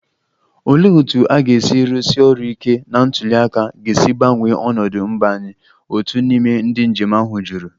Olee otú ga-esi arụsi ọrụ ike na ntuli aka ga-esi gbanwee ọnọdụ mba anyị? otu n'ime ndị njem ahụ jụrụ